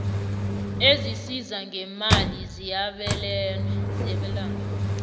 ezisiza ngeemali ziyabelana